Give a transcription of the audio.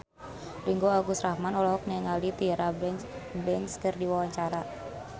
Ringgo Agus Rahman olohok ningali Tyra Banks keur diwawancara